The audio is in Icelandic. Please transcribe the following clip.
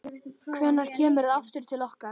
Hvenær kemurðu aftur til okkar?